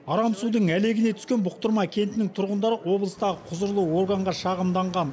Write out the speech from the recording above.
арам судың әлегіне түскен бұқтырма кентінің тұрғындары облыстағы құзырлы органға шағымданған